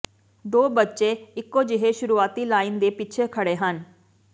ਦੋ ਬੱਚੇ ਇਕੋ ਜਿਹੇ ਸ਼ੁਰੂਆਤੀ ਲਾਈਨ ਦੇ ਪਿੱਛੇ ਖੜ੍ਹੇ ਹਨ